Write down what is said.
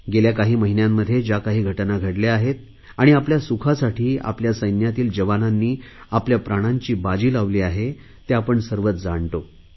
गेल्या काही महिन्यांमध्ये ज्या काही घटना घडल्या आहेत आणि आपल्या सुखासाठी आपल्या सैन्यातील जवानांनी आपल्या प्राणांची बाजी लावली आहे ते आपण सर्वच जाणतो